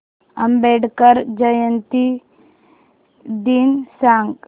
आंबेडकर जयंती दिन सांग